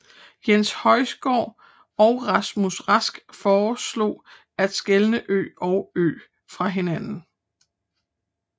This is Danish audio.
Jens Høysgaard og Rasmus Rask foreslog at skelne ø og ö fra hinanden